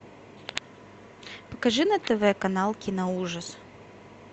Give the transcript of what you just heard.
покажи на тв канал киноужас